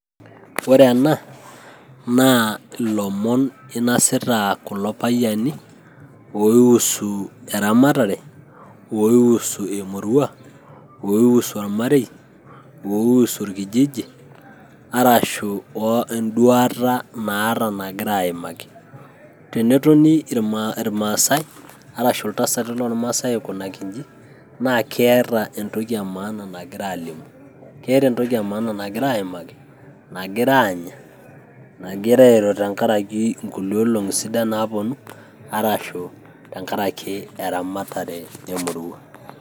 Ore ena naa, ilomon einasita kulo payiani oiusu eramatare, oiusu emurua, oiusu ormarei, oiusu orkijiji arashu eduata naata nagira ayimaki. Tenetoni ormasae arashu iltasati loormasai aikunaki eji, naa keeta entoki emaana nagira aalimu, keata entoki emaana nagira ayimaki, nagira aanya, nagira ayimaki tenkaraki enkulie olong'i sidan naaponu, arashu tenkaraki eramatare emurua.